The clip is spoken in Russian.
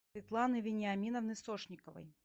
светланы вениаминовны сошниковой